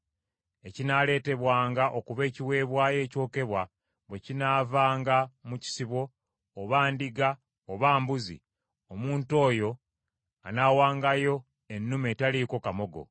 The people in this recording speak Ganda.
“Ekinaaleetebwanga okuba ekiweebwayo ekyokebwa bwe kinaavanga mu kisibo, oba ndiga oba mbuzi, omuntu oyo anaawangayo ennume etaliiko kamogo.